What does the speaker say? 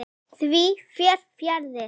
Því fer fjarri.